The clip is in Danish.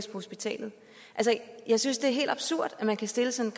hospitalet jeg synes det er helt absurd at man kan stille sådan